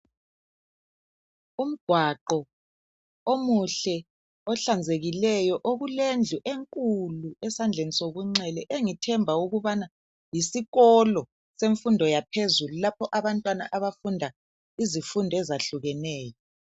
Umgwaqo omuhle ohlanzekileyo okulendlu enkulu esandleni sokunxele engithemba ukubana yisikolo semfundo yaphezulu lapho abantwana abafunda izifundo ezahlukeneyo.